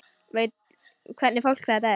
Veit hvernig fólk þetta er.